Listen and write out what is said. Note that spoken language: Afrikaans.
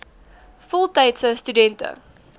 voltydse stu dente